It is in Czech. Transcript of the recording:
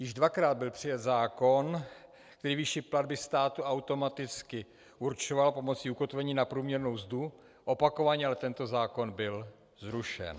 Již dvakrát byl přijat zákon, který výši platby státu automaticky určoval pomocí ukotvení na průměrnou mzdu, opakovaně ale tento zákon byl zrušen.